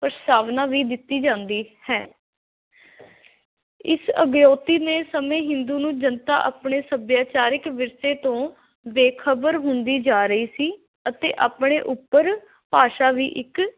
ਪ੍ਰਸਤਾਵਨਾ ਵੀ ਦਿੱਤੀ ਜਾਂਦੀ ਹੈ। ਇਸ ਨੇ ਸਮੇਂ ਹਿੰਦੂ ਨੂੰ ਜਨਤਾ ਆਪਣੇ ਸੱਭਿਆਚਾਰਿਕ ਵਿਰਸੇ ਤੋਂ ਬੇਖਬਰ ਹੁੰਦੀ ਜਾ ਰਹੀ ਸੀ ਅਤੇ ਆਪਣੇ ਉੱਪਰ ਭਾਸ਼ਾ ਵੀ ਇੱਕ